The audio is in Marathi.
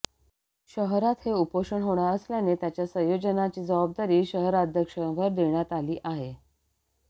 शहरात हे उपोषण होणार असल्याने त्याच्या संयोजनाची जबाबदारी शहराध्यक्षांवर देण्यात आली आहे